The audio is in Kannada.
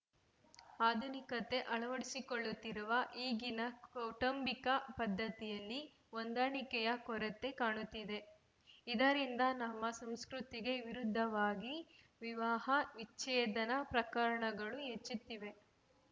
ಆಧುನಿಕತೆ ಅಳವಡಿಸಿಕೊಳ್ಳುತ್ತಿರುವ ಈಗಿನ ಕೌಟುಂಬಿಕ ಪದ್ಧತಿಯಲ್ಲಿ ಹೊಂದಾಣಿಕೆಯ ಕೊರತೆ ಕಾಣುತ್ತಿದೆ ಇದರಿಂದ ನಮ್ಮ ಸಂಸ್ಕೃತಿಗೆ ವಿರುದ್ಧವಾಗಿ ವಿವಾಹ ವಿಚ್ಛೇದನ ಪ್ರಕರಣಗಳು ಹೆಚ್ಚುತ್ತಿವೆ